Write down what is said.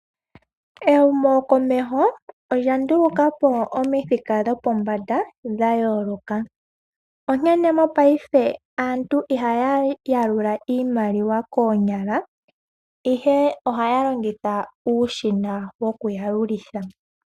Ehumo komeho olya ndulukapo omithika dhopombada ,dha yooloka onkene mopaife aantu ihaya yalula iimaliwa koonyala ihe ohaya longitha uushina woku yalulitha.